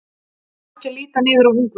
Hann á ekki að líta niður á Ungverja.